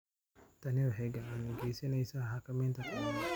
Tani waxay gacan ka geysaneysaa xakameynta khiyaanada.